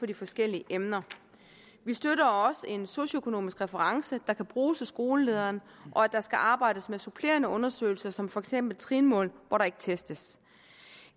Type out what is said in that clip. de forskellige emner vi støtter også en socioøkonomisk reference der kan bruges af skolelederen og at der skal arbejdes med supplerende undersøgelser som for eksempel trinmål hvor der ikke testes